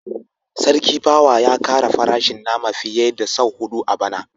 Sarki pawa ya kara farashin nama fiye da sau hudu a bana